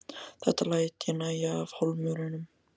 Þetta læt ég nægja af Hólmurum.